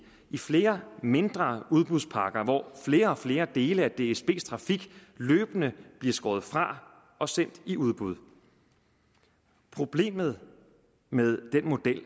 i flere mindre udbudspakker hvor flere og flere dele af dsbs trafik løbende bliver skåret fra og sendt i udbud problemet med den model